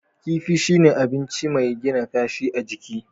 Kifi shine abinci mai gina kashi a jiki.